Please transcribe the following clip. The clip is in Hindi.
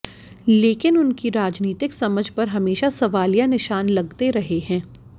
लेकिन उनकी राजनीतिक समझ पर हमेशा सवालिया निशान लगते रहे हैं